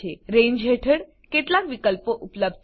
રંગે હેઠળ કેટલાક વિકલ્પો ઉપલબ્ધ છે